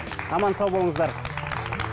аман сау болыңыздар